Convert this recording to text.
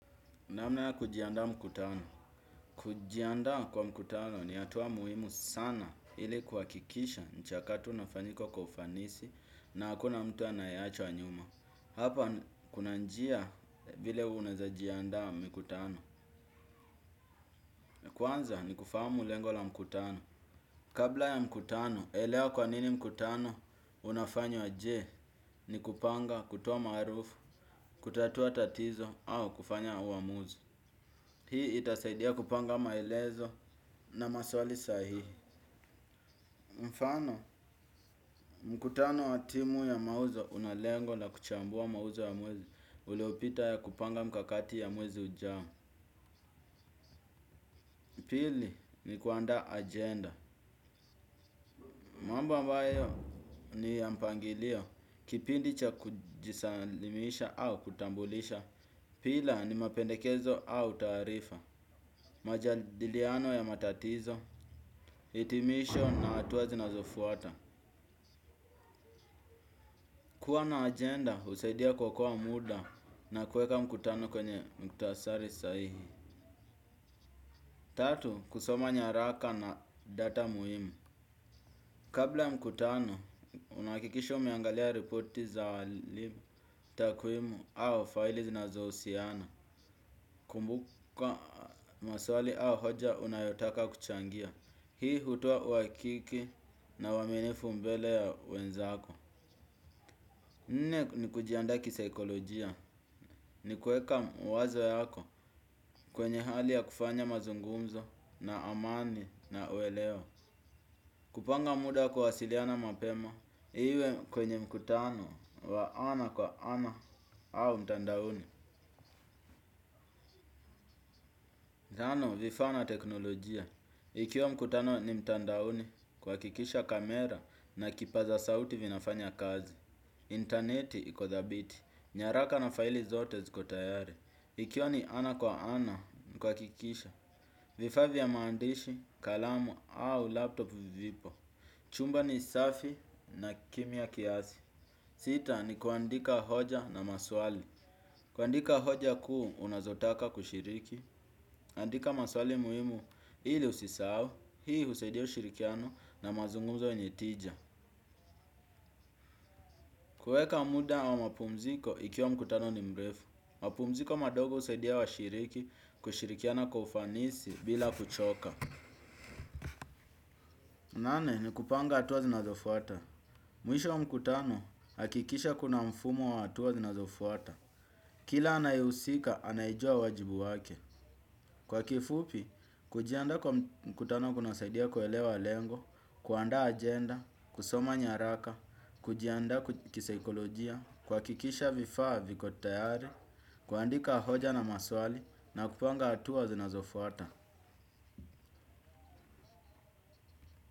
Namna ya kujiandaa mkutano. Kujiandaa kwa mkutano ni hatua muhimu sana ili kuhakikisha mchakato unafanyika kwa ufanisi na hakuna mtu anayeachwa nyuma. Hapa kuna njia vile unawezajiandaa mkutano. Kwanza ni kufahamu lengo la mkutano. Kabla ya mkutano, elewa kwa nini mkutano unafanywa je ni kupanga kutoa maarufu, kutatua tatizo au kufanya uamuzi. Hii itasaidia kupanga maelezo na maswali sahihi. Mfano, mkutano wa timu ya mauzo unalengo na kuchambua mauzo ya mwezi uliopita ya kupanga mikakati ya mwezi ujao. Pili, ni kuandaa ajenda. Mambo mbayo ni ya mpangilio, kipindi cha kujisalimisha au kutambulisha. Pila, ni mapendekezo au taarifa. Majadiliano ya matatizo, hitimisho na hatua zinazofuata. Kuwa na ajenda, husaidia kwa kuokoa muda na kuweka mkutano kwenye mkutasari sahihi. Tatu, kusoma nyaraka na data muhimu. Kabla mkutano, unahakikisha umeangalia reporti za awali takwimu au faili zinazohusiana. Kumbuka maswali au hoja unayotaka kuchangia. Hii hutoa uhakiki na uwaminifu mbele ya wenzako. Nne ni kujiandaa kisaikolojia ni kuweka mawazo yako kwenye hali ya kufanya mazungumzo na amani na uelewo. Kupanga muda wa kuwasiliana mapema iwe kwenye mkutano wa ana kwa ana au mtandaoni. Zana vifaa na teknolojia. Ikiwa mkutano ni mtandaoni kuhakikisha kamera na kipaza sauti vinafanya kazi. Intaneti iko dhabiti. Nyaraka na faili zote ziko tayari. Ikiwa ni ana kwa ana, kuhakikisha. Vifaa vya maandishi, kalamu au laptop vipo. Chumba ni safi na kimia kiasi. Sita ni kuandika hoja na maswali. Kuandika hoja kuu unazotaka kushiriki. Andika maswali muhimu ili usisahau. Hii husaidia ushirikiano na mazunguzo yenye tija. Kuweka muda wa mapumziko ikiwa mkutano ni mrefu. Mapumziko madogo husaidia washiriki, kushirikiana kwa ufanisi bila kuchoka. Nane, ni kupanga hatua zinazofuata. Mwisho wa mkutano, hakikisha kuna mfumo wa hatua zinazofuata. Kila anayehusika, anajua wajibu wake. Kwa kifupi, kujiandaa kwa mkutano kunasaidia kuelewa lengo, kuandaa agenda, kusoma nyaraka, kujiandaa kisaikolojia, kuhakikisha vifaa viko tayari, kuandika hoja na maswali na kupanga hatua zinazofuata.